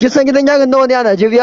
Kin san gidan yari nawa ne a Najeriya?